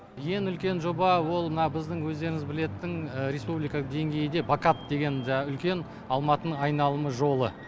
ең үлкен жоба ол мына біздің өздеріңіз білетін республикалық деңгейде бакап деген жаңағы үлкен алматының айналым жолы